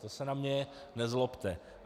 To se na mě nezlobte.